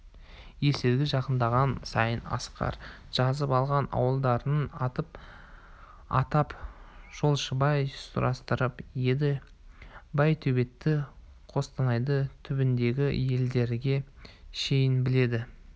есілге жақындаған сайын асқар жазып алған ауылдарының атын атап жолшыбай сұрастырып еді байтөбетті қостанайдың түбіндегі елдерге шейін біледі